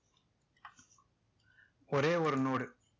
ஒரே ஒரு node